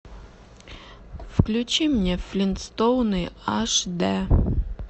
включи мне флинстоуны аш дэ